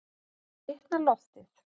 Þá hitnar loftið.